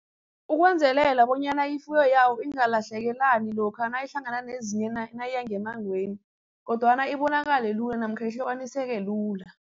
Ukwenzelela bonyana ifuyo yawo ingalahlekelani lokha nayihlangana nezinye naye ngemmangweni kodwana ibonakale lula namkha ihlukaniseke lula.